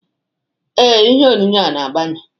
Ee, ihe onyonyo a na-agbanye